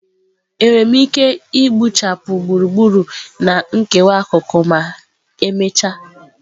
Enwere m ike gbuchapụ gburugburu na nkewa akụkụ ma emechaa?